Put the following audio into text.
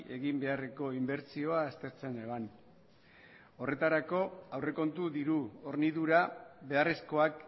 egin beharreko inbertsioa aztertzen neban horretarako aurrekontu diru hornidura beharrezkoak